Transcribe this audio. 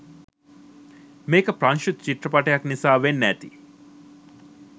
මේක ප්‍රංශ චිත්‍රපටයක් නිසා වෙන්න ඇති